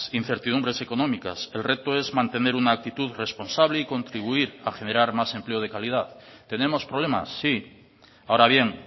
incertidumbres económicas el reto es mantener una actitud responsable y contribuir a generar más empleo de calidad tenemos problemas sí ahora bien